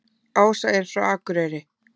Ása er frá Akureyri.